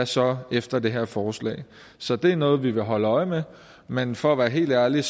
så efter det her forslag så det er noget vi vil holde øje med men for at være helt ærlige